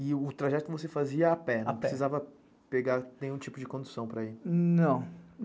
E o trajeto você fazia a pé, não precisava pegar nenhum tipo de condução para ir?